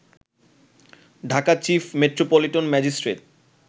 Dhaka chief metropolitan magistrate